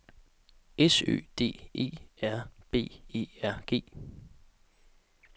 S Ø D E R B E R G